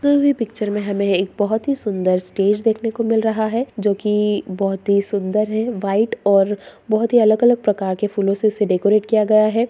हुई पिक्चर में हमे एक बहुत ही सुंदर स्टेज देखने को मिल रहा है जो की बहुत ही सुंदर है व्हाइट और बहुत ही अलग-अलग प्रकार के फूलों से उसे डेकोरेट किया गया है। ।